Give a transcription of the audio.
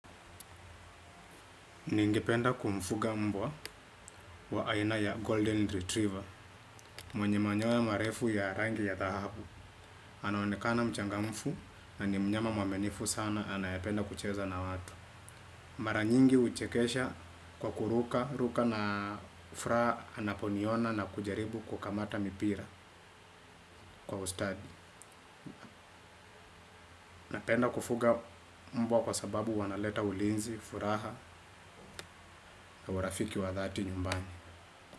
Ningependa kumfuga mbwa wa aina ya Golden Retriever, mwenye manyoya marefu ya rangi ya dhahabu. Anaonekana mchangamfu na ni mnyama mwaminifu sana anayependa kucheza na watu. Anaonekana mchangamfu na ni mnyama mwaminifu sana anayependa kucheza na watu. Mara nyingi huchekesha kwa kuruka, ruka na furaha anaponiona na kujaribu kukamata mipira kwa ustadi.